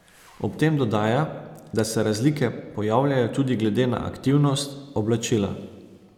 Ob tem dodaja, da se razlike pojavljajo tudi glede na aktivnost, oblačila ...